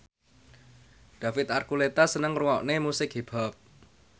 David Archuletta seneng ngrungokne musik hip hop